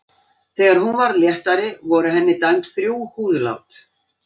Þegar hún varð léttari voru henni dæmd þrjú húðlát.